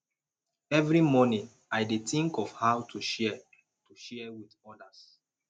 every morning i dey think of how to share to share with others